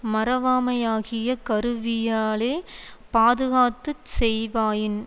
மறவாமையாகிய கருவியாலே பாதுகாத்துச் செய்வாயின்